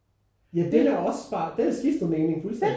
Ja den er også bare den har skiftet mening fuldstændig